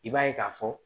I b'a ye k'a fɔ